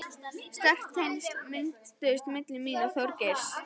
Sterk tengsl mynduðust milli mín og Þorgeirs.